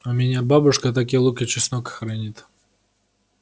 у меня бабушка так и лук и чеснок хранит